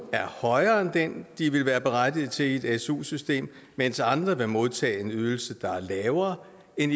er højere end den de ville være berettiget til i et su system mens andre vil modtage en ydelse der er lavere end